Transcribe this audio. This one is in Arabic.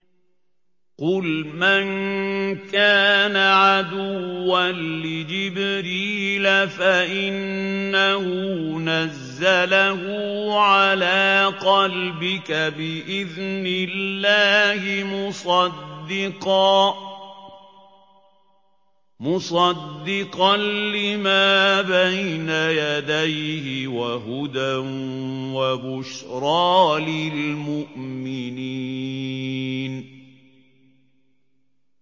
قُلْ مَن كَانَ عَدُوًّا لِّجِبْرِيلَ فَإِنَّهُ نَزَّلَهُ عَلَىٰ قَلْبِكَ بِإِذْنِ اللَّهِ مُصَدِّقًا لِّمَا بَيْنَ يَدَيْهِ وَهُدًى وَبُشْرَىٰ لِلْمُؤْمِنِينَ